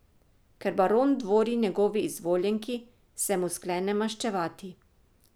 Ker baron dvori njegovi izvoljenki, se mu sklene maščevati.